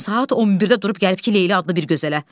Saat 11-də durub gəlib ki, Leyli adlı bir gözələ.